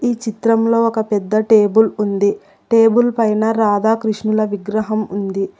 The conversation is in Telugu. ఈ చిత్రంలో ఒక పెద్ద టేబుల్ ఉంది టేబుల్ పైన రాధాకృష్ణుల విగ్రహం ఉంది.